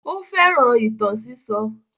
Ó fẹ́ràn ìtàn sísọ.